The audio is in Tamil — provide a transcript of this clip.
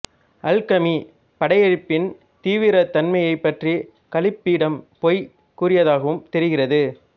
அல்கமி படையெடுப்பின் தீவிரத் தன்மையைப் பற்றி கலீப்பிடம் பொய் கூறியதாகவும் தெரிகிறது